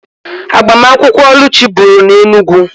Agbamakwụkwọ Oluchi bụrụ na Enugwu